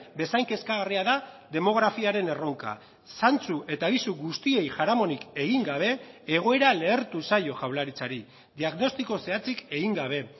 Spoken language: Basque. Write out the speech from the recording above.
bezain kezkagarria da demografiaren erronka zantzu eta abisu guztiei jaramonik egin gabe egoera lehertu zaio jaurlaritzari diagnostiko zehatzik egin gabe